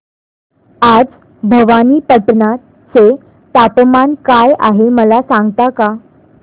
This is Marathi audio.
आज भवानीपटना चे तापमान काय आहे मला सांगता का